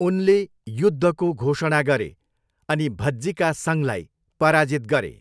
उनले युद्धको घोषणा गरे अनि भज्जिका सङ्घलाई पराजित गरे।